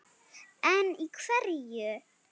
En í hverju?